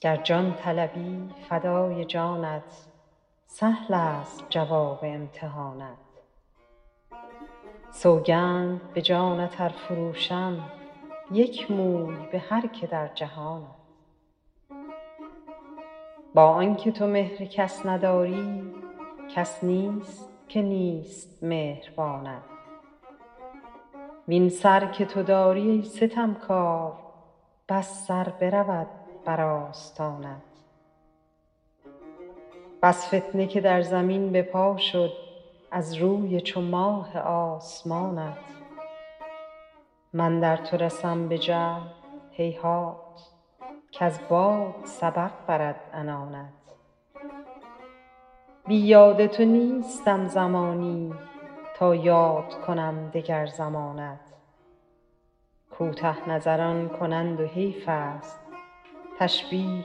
گر جان طلبی فدای جانت سهلست جواب امتحانت سوگند به جانت ار فروشم یک موی به هر که در جهانت با آن که تو مهر کس نداری کس نیست که نیست مهربانت وین سر که تو داری ای ستمکار بس سر برود بر آستانت بس فتنه که در زمین به پا شد از روی چو ماه آسمانت من در تو رسم به جهد هیهات کز باد سبق برد عنانت بی یاد تو نیستم زمانی تا یاد کنم دگر زمانت کوته نظران کنند و حیفست تشبیه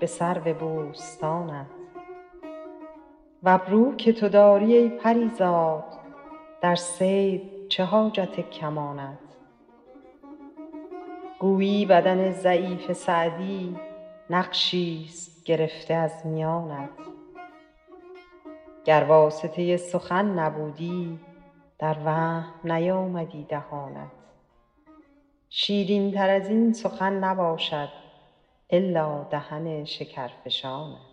به سرو بوستانت و ابرو که تو داری ای پری زاد در صید چه حاجت کمانت گویی بدن ضعیف سعدی نقشیست گرفته از میانت گر واسطه سخن نبودی در وهم نیامدی دهانت شیرینتر از این سخن نباشد الا دهن شکرفشانت